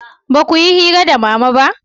ba ku yi hira da mama ba?